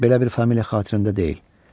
Belə bir familiya xatirimdə deyil.